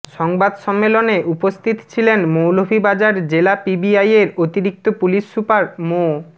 সংবাদ সম্মেলনে উপস্থিত ছিলেন মৌলভীবাজার জেলা পিবিআইয়ের অতিরিক্ত পুলিশ সুপার মো